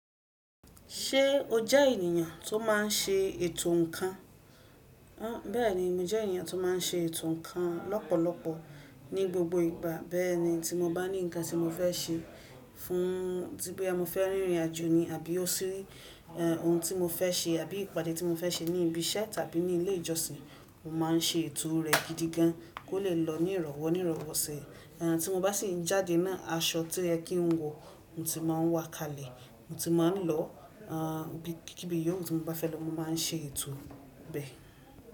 Ṣé o jẹ́ ènìyàn tó má n ṣe ètò ǹkan? Bẹ́ẹ̀ni, mo jẹ́ ènìyàn tó má n ṣe ètò ǹkan lọ́pọ̀lọpọ̀ ní gbogbo ìgbà bẹ́ẹ̀ni tí mo bá ní ǹkan tí mo fẹ́ ṣe fún tí boya mo fẹ́ rìnrìn àjò ni àbí ó ṣí, ohun tí mo fẹ́ ṣe àbí ìpàdé tí mo fẹ́ ṣe ní ibi ṣẹ́ tàbí ní ilé ìjọsìn, mo má n ṣe ètò rẹ̀ gidigan kó lè lọ ní ìrọ̀wọ́ ní ìrọ̀wọ́ sẹ́. Tí mo bá sì ń jáde náà, aṣọ tí o yẹ kí n wọ, mo ti má a ń wa kalẹ̀. Mo ti má n lọ, ibi kí bí yóò ti mo bá fẹ́ lọ, mo má n ṣe ètò bẹ́.